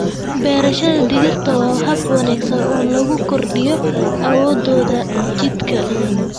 Beerashada digirta waa hab wanaagsan oo lagu kordhiyo awoodda jidhka.